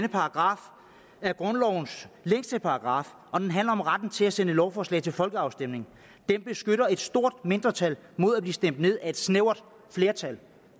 er grundlovens længste paragraf og den handler om retten til at sende lovforslag til folkeafstemning den beskytter et stort mindretal mod at blive stemt ned af et snævert flertal